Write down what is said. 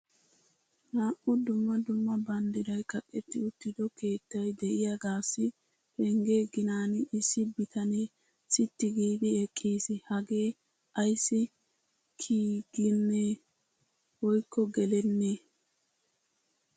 Naa"u dumma dumma bamddiray kaqqeti uttido keettay de'iyaagassi pengge ginan issi bitanee sitti giidi eqqiis. Hagee ayssi kiyiigenme woykko gelenme!